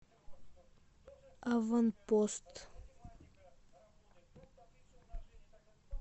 аванпост